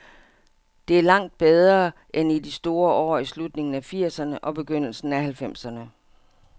Det er langt bedre end i de store år i slutningen af firserne og begyndelsen af halvfemserne.